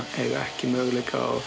eiga ekki möguleika á